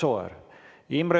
Kas Sooäärel?